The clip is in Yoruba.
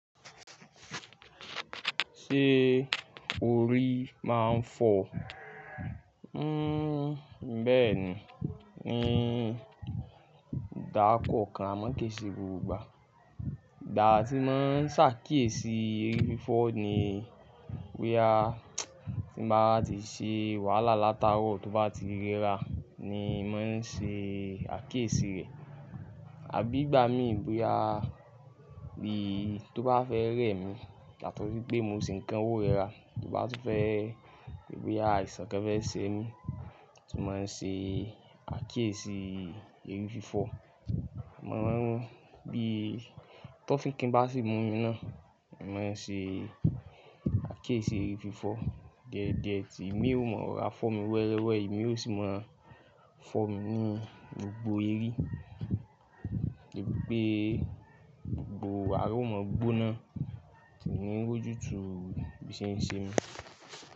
Ṣé orí máa ń fọ? Hmm, bẹ́ẹ̀ ni, ni gbaa kọòkan a máa ki se gbogbo ìgbà. Ìgbà tí n máa ń ṣàkíyèsí eri fífọ́ ni boya tí wá ti ṣe wàhálà lataarọ̀ tó bá ti rẹ́ra ni màá ṣe àkíyèsí rẹ̀. Àbí ìgbà mí boya bí tó bá fẹ́ rẹ́ mi, yàtọ̀ sí pé mo se ń kan ó rẹra, tó bá tún fẹ́ boya àìsàn kan fẹ́ ṣe mí, tí mo máa ṣe àkíyèsí eri fífọ́. Mo máa n mọ bí tọ́fikin bá sì mú mi náà, mo máa n ṣe àkíyèsí eri fífọ́. Diediẹ́ tí imi ó mọ rora fọ́ mi wẹ́rẹ́wẹ́, imi ó sì máa fọ́ mi ní gbogbo eri, debí pe gbogbo ara ó mọ gbóná, kí n ni rójú tu bí i ṣe ń ṣe mí.